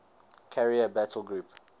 carrier battle group